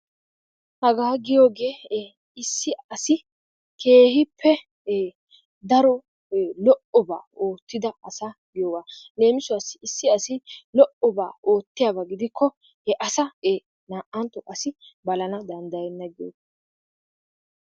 hagaa giyoogee issi asi keehippe daro lo"obaa oottida asa giyoogaa leemisuwaassi issi asi lo"obaa oottiyaaba gidikko naa"ntto asi balana danddayenna giyoogaa.